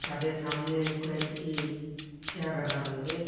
তাদের সামনে কয়েকটি চেয়ার রাখা রয়েছে।